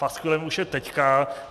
Paskvilem je už teď.